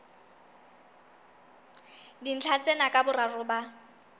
dintlha tsena ka boraro ba